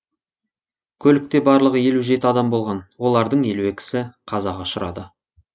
көлікте барлығы елу жеті адам болған олардың елу екісі қазаға ұшырады